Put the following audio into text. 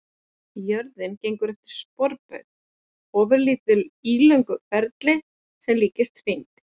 Jörðin gengur eftir sporbaug, ofurlítið ílöngum ferli sem líkist hring.